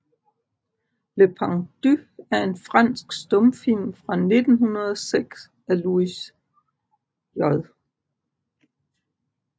Le pendu er en fransk stumfilm fra 1906 af Louis J